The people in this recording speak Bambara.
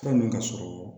Fura min ka sɔrɔ